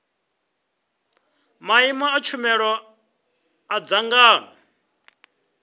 maimo a tshumelo a dzangano